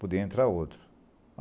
Podia entrar outro.